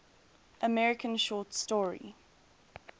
american short story